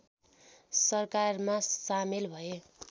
सरकारमा सामेल भए